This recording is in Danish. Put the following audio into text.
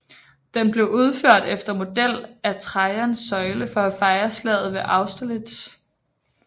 Den blev udført efter model af Trajans søjle for at fejre slaget ved Austerlitz